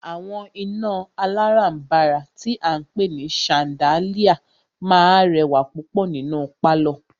Àwọn iná alárànbàrà tí a ń pé ní ṣandáliá máà rẹwà púpọ̀ nínú pálọ̀.